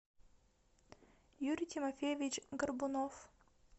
юрий тимофеевич горбунов